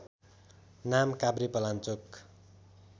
नाम काभ्रेपलाञ्चोक